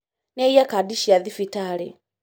Nĩaiya Kandi cia thibitarĩ